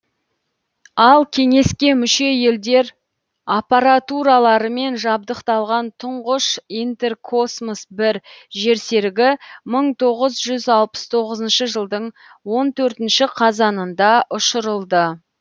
ал кеңеске мүше елдер аппаратураларымен жабдықталған тұңғыш интеркосмос бір жерсерігі мың тоғыз жүз алпыс тоғызыншы жылдың он төртінші қазанында ұшырылды